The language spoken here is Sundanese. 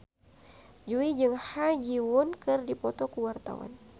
Jui jeung Ha Ji Won keur dipoto ku wartawan